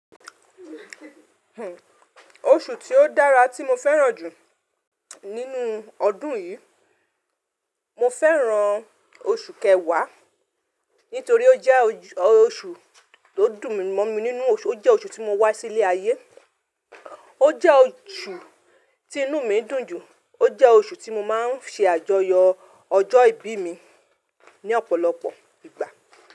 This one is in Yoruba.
Oṣù tí ó dára tí mo fẹ́ràn jù nínú ọdún yìí, mo fẹ́ràn oṣù kẹwàá nítorí ó jẹ́ oṣù tó dùn mọ́n mi nínú oṣù, ó jẹ́ oṣù tí mo wá sí ilé ayé, ó jẹ́ oṣù tí inú mi ń dùn jù, ó jẹ́ oṣù tí mo máa ń ṣe àjọyọ̀ ọjọ́ ìbí mi ní ọ̀pọ̀lọpọ̀ ìgbà.